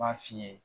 B'a f'i ye